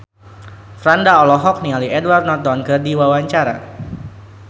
Franda olohok ningali Edward Norton keur diwawancara